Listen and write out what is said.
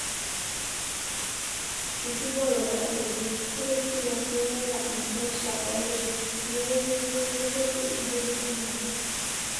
enkibooroto oonkujit: ore spinash nemeeta enkesha o nkujit neeku keyieu nedoti nkujit enaake